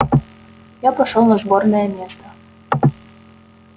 я пошёл на сборное место